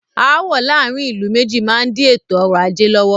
Aàwọ̀ láàárín ìlú méjì má n di ètò ọrọ̀ ajé lọ́wọ́.